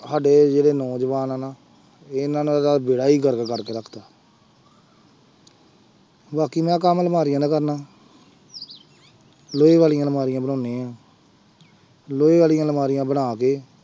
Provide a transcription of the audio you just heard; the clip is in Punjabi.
ਸਾਡੇ ਜਿਹੜੇ ਨੌਜਵਾਨ ਆਂ ਨਾ ਇਹਨਾਂ ਨੇ ਤਾਂ ਬੇੜਾ ਹੀ ਗਰਕ ਕਰਕੇ ਰੱਖ ਦਿੱਤਾ ਬਾਕੀ ਮੈਂ ਕੰਮ ਅਲਮਾਰੀਆਂ ਦਾ ਕਰਦਾ ਲੋਹੇ ਵਾਲੀਆਂ ਅਲਮਾਰੀਆਂ ਬਣਾਉਂਦੇ ਹਾਂ ਲੋਹੇ ਵਾਲੀਆਂ ਅਲਮਾਰੀਆਂ ਬਣਾ ਕੇ